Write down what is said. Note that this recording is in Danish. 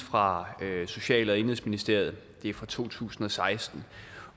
fra social og indenrigsministeriet fra to tusind og seksten